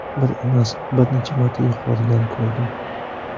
Bir emas, bir necha marta yuqoridan ko‘rdim.